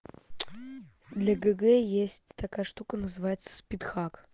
для г г есть такая штука называется спидхак